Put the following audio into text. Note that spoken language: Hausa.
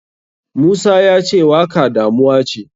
Musa yace waka damuwace.